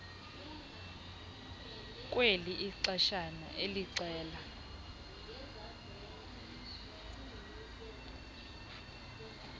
kweli ixeshana elixela